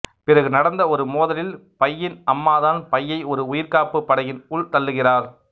பிறகு நடந்த ஒரு மோதலில் பையின் அம்மாதான் பையை ஒரு உயிர்காப்புப் படகின் உள் தள்ளுகிறார்